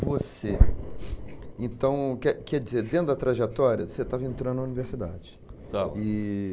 Você, então, quer quer dizer, dentro da trajetória, você estava entrando na universidade. Estava. E